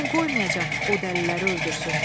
Mən qoymayacam o dəliləri öldürsün.